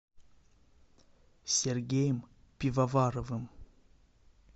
сергеем пивоваровым